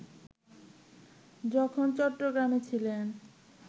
যখন চট্টগ্রামে ছিলেন